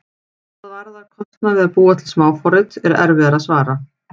Hvað varðar kostnað við að búa til smáforrit er erfiðara að svara.